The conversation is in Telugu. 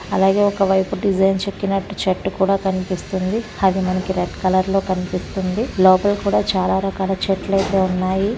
అలాగే ఒక వైపు డిజైన్ చెక్కినట్టు చెట్టు కూడ కనిపిస్తుంది అది మనకి రెడ్ కలర్ లో కనిపితుంది లోపలకూడ చాల రకాల చెట్లతే ఉన్నాయి.